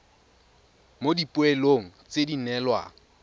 mo dipoelong tse di neelwang